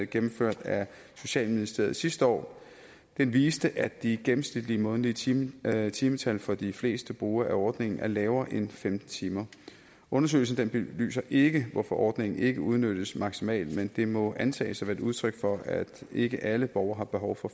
gennemført af socialministeriet sidste år den viste at de gennemsnitlige månedlige timetal timetal for de fleste brugere af ordningen er lavere end femten timer undersøgelsen belyser ikke hvorfor ordningen ikke udnyttes maksimalt men det må antages at være et udtryk for at ikke alle borgere har behov for